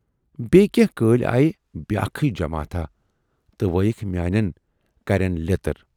بییہِ کینہہ کٲلۍ آیہِ بیاکھٕے جماتھاہ تہٕ وٲیِکھ میانٮ۪ن کَرٮ۪ن لیتر۔